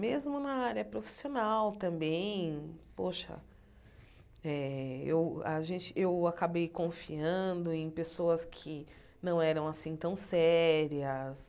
Mesmo na área profissional também, poxa, eh eu a gente eu acabei confiando em pessoas que não eram assim tão sérias.